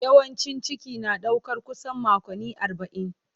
Yawancin ciki na ɗaukar kusan makonni arba'in.